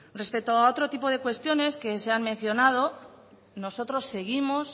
respecto a otro tipo de cuestiones que se han mencionado nosotros seguimos